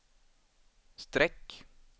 streck